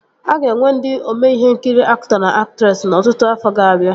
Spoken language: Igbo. A ga-enwe ndị ome ihe nkiri aktọ na aktresị n'ọtụtụ afọ ga-abịa